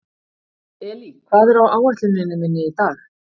Elí, hvað er á áætluninni minni í dag?